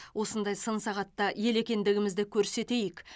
осындай сын сағатта ел екендігімізді көрсетейік